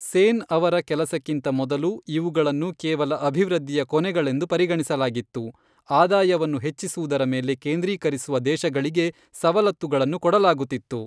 ಸೇನ್ ಅವರ ಕೆಲಸಕ್ಕಿಂತ ಮೊದಲು, ಇವುಗಳನ್ನು ಕೇವಲ ಅಭಿವೃದ್ಧಿಯ ಕೊನೆಗಳೆಂದು ಪರಿಗಣಿಸಲಾಗಿತ್ತು, ಆದಾಯವನ್ನು ಹೆಚ್ಚಿಸುವುದರ ಮೇಲೆ ಕೇಂದ್ರೀಕರಿಸುವ ದೇಶಗಳಿಗೆ ಸವಲತ್ತುಗಳನ್ನು ಕೊಡಲಾಗುತ್ತಿತ್ತು.